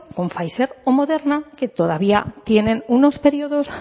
con pfizer o moderna que todavía tienen unos periodos